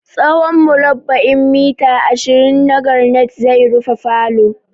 Tsawon murabba'in murabba'in mita ashirin na garanait zai rufe falo.